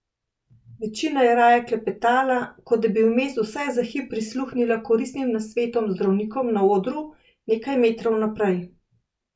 Večina je raje klepetala, kot da bi vmes vsaj za hip prisluhnila koristnim nasvetom zdravnikov na odru nekaj metrov naprej.